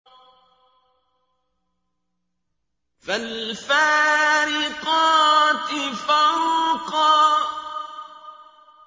فَالْفَارِقَاتِ فَرْقًا